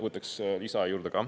Võtaks lisaaega ka.